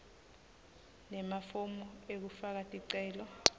nemafomu ekufaka ticelo